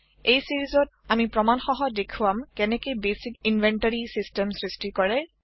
এই চিৰিজত অমি প্ৰমানসহ দেখুৱাম কেনেকে বেচিক ইনভেণ্টৰি চিচটেম সৃষ্টি কৰে